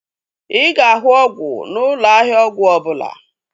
Ị ga-ahụ ọgwụ n'ụlọ ahịa ọgwụ ọbụla